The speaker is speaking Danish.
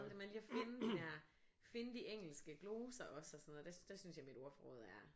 Det med lige og finde de der finde de engelske gloser også og sådan noget der synes jeg mit ordforråd er